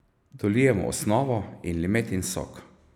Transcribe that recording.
Dolijemo osnovo in limetin sok.